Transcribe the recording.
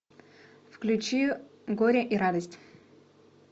включи горе и радость